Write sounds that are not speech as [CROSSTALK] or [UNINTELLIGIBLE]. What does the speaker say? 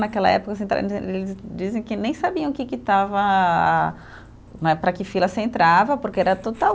Naquela época, [UNINTELLIGIBLE] eles dizem que nem sabiam que que estava né, para que fila você entrava, porque era total.